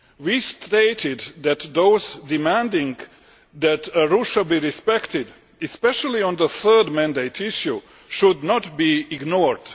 We stated that those demanding that Arusha be respected, especially on the third mandate issue, should not be ignored.